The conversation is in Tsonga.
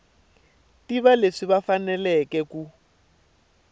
tiva leswi va faneleke ku